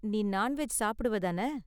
நீ நான்வெஜ் சாப்பிடுவ தான?